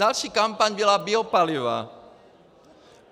Další kampaň byla biopaliva.